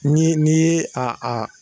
Ni n'i ye a a